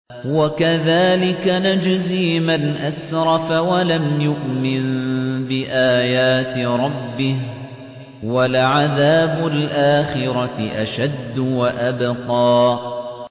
وَكَذَٰلِكَ نَجْزِي مَنْ أَسْرَفَ وَلَمْ يُؤْمِن بِآيَاتِ رَبِّهِ ۚ وَلَعَذَابُ الْآخِرَةِ أَشَدُّ وَأَبْقَىٰ